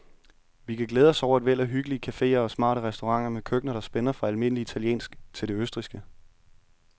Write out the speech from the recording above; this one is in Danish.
Vi kan glæde os over et væld af hyggelige caféer og smarte restauranter med køkkener, der spænder fra almindelig italiensk til det østrigske.